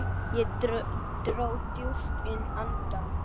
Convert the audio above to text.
Ég dró djúpt inn andann.